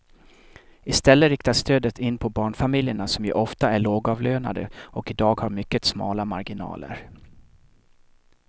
I stället riktas stödet in på barnfamiljerna som ju ofta är lågavlönade och i dag har mycket smala marginaler.